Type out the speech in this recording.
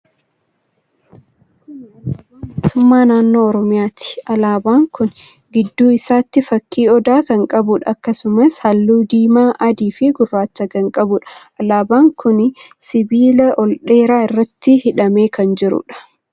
Kuni alaabaa mootummaa naannoo Oromiyaati. Alaaban kuni gidduu isaatti fakkii odaa kan qabuudha. Akkasumas, halluu diimaa, adii fi gurraacha kan qabuudha. Alaaban kuni sibiila ol dheeraa irratti hidhamee kan jiruudha.